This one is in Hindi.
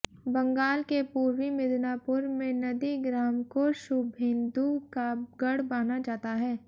बंगाल के पूर्वी मिदनापुर में नंदीग्राम को शुभेंदु का गढ़ माना जाता है